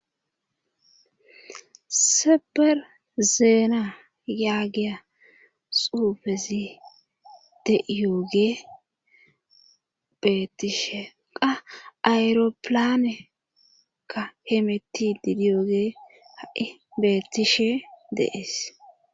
Seber zeena yaagiya xuufezi deiyoge beettishe qa ayropilanekka hemetti didiyooge ha7i beettishe deees.